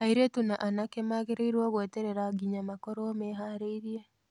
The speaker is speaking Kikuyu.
Airĩtu na anake magĩrĩirũo gweterera nginya makorũo mehaarĩirie.